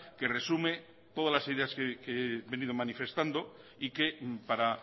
que resume todas las ideas que he venido manifestando y que para